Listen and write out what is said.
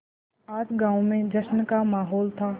आज गाँव में जश्न का माहौल था